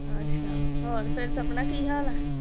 ਅੱਛਾ ਹੋਰ ਫਿਰ ਸਪਨਾ ਕੀ ਹਾਲ ਆ?